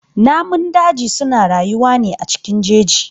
Namun daji suna rayuwa ne cikin jeji.